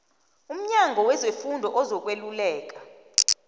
umnyango wezefundo ozokweluleleka